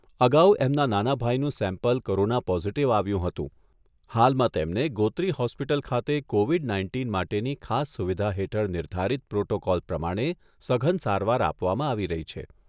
અગાઉ એમના નાના ભાઈનું સેમ્પલ કોરોના પોઝિટિવ આવ્યું હતું. હાલમાં તેમને ગોત્રી હોસ્પિટલ ખાતે કોવિડ નાઇન્ટીન માટેની ખાસ સુવિધા હેઠળ નિર્ધારિત પ્રોટોકોલ પ્રમાણે સઘન સારવાર આપવામાં આવી રહી છે.